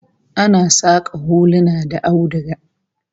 Ana saka huluna da auduga